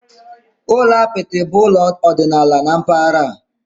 Ụlọ apịtị bụ ụlọ ọdịnala na mpaghara a.